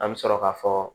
An bɛ sɔrɔ ka fɔ